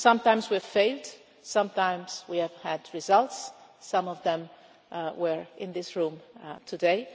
Sometimes we have failed, sometimes we have had results, some of them were in this room today.